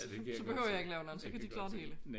Så behøver jeg ikke lave nogen så kan de klare det hele